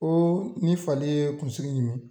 Koo ni fali ye kunsigi ɲimi